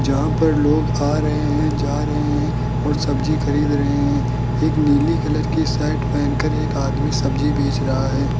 जहां पर लोग आ रहे हैं जा रहे हैं ओर सब्जी खरीद रहे हैं। एक निली कलर की शर्ट पहनकर एक आदमी सब्जी बेच रहा हैं।